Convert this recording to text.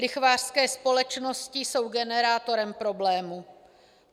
Lichvářské společnosti jsou generátorem problému.